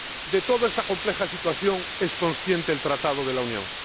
De toda esta compleja situación es consciente el Tratado de la Unión.